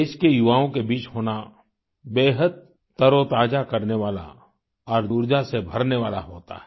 देश के युवाओं के बीच होना बेहद तरोताजा करने वाला और ऊर्जा से भरने वाला होता है